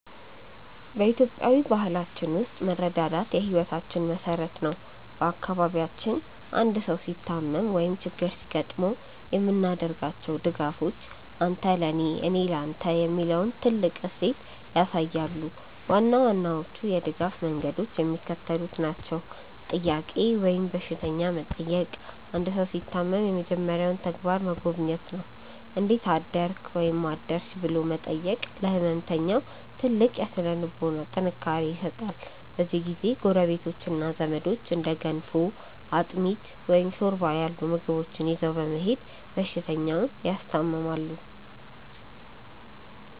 በኢትዮጵያዊ ባህላችን ውስጥ መረዳዳት የሕይወታችን መሠረት ነው። በአካባቢያችን አንድ ሰው ሲታመም ወይም ችግር ሲገጥመው የምናደርጋቸው ድጋፎች "አንተ ለኔ፣ እኔ ለተ" የሚለውን ጥልቅ እሴት ያሳያሉ። ዋና ዋናዎቹ የድጋፍ መንገዶች የሚከተሉት ናቸው፦ "ጥያቄ" ወይም በሽተኛ መጠየቅ አንድ ሰው ሲታመም የመጀመሪያው ተግባር መጎብኘት ነው። "እንዴት አደርክ/ሽ?" ብሎ መጠየቅ ለሕመምተኛው ትልቅ የሥነ-ልቦና ጥንካሬ ይሰጣል። በዚህ ጊዜ ጎረቤቶችና ዘመዶች እንደ ገንፎ፣ አጥሚት፣ ወይም ሾርባ ያሉ ምግቦችን ይዘው በመሄድ በሽተኛውን ያስታምማሉ።